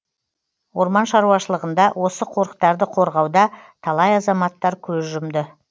орман шаруашылығында осы қорықтарды қорғауда талай азаматтар көз жұмды